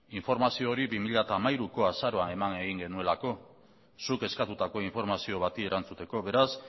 informazio hori bi mila hamairuko azaroan eman egin genuelako zuk eskatutako informazio bati erantzuteko beraz